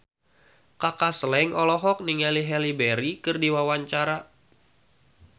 Kaka Slank olohok ningali Halle Berry keur diwawancara